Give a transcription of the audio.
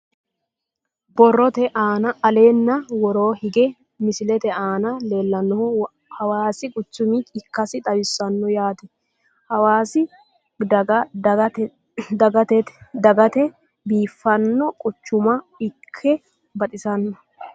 Borrotte aanna nna wooronni hige misilette aanna leellanohu hawaasi quchumma ikkassi xawissanno yaatte hawaasi daga dagittette biiffanno quchumma iikke baxissanno